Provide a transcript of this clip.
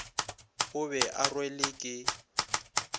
o be o rwelwe ke